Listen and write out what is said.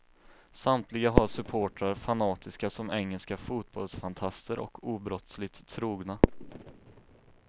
Samtliga har supportrar fanatiska som engelska fotbollsfantaster och obrottsligt trogna.